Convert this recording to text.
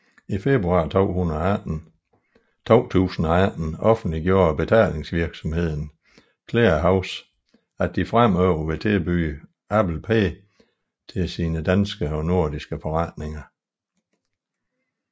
I februar 2018 offentliggjorde betalingsvirksomheden Clearhaus at de fremover vil tilbyde Apple Pay til sine danske og nordiske forretninger